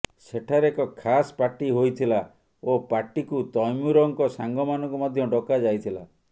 ସେଠାରେ ଏକ ଖାସ୍ ପାର୍ଟି ହୋଇଥିଲା ଓ ପାର୍ଟିକୁ ତୈମୁରଙ୍କ ସାଙ୍ଗମାନଙ୍କୁ ମଧ୍ୟ ଡକାଯାଇଥିଲା